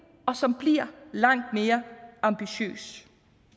og som bliver langt mere ambitiøs